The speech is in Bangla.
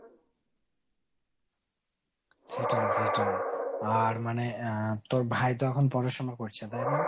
সেটাই সেটাই। আর মানে আহ তোর ভাই তো এখন পড়াশুনো করছে তাই না ?